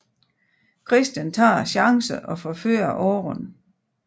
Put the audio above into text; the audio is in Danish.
Christian tager chancen og forfører Aaron